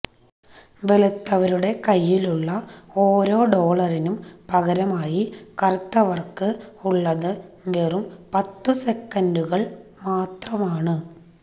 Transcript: വെളുത്തവരുടെ കയ്യിലുള്ള ഓരോ ഡോളറിനും പകരമായി കറുത്തവര്ക്ക് ഉള്ളത് വെറും പത്തു സെന്റുകള് മാത്രമാണ്